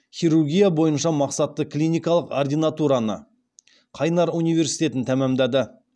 хирургия бойынша мақсатты клиникалық ординатураны қайнар университетін тәмамдады